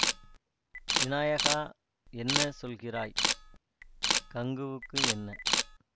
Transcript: விநாயகா என்ன சொல்கிறாய் கங்குவுக்கு என்ன